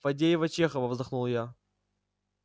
фадеева чехова вздохнул я